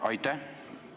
Aitäh!